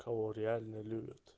кого реально любят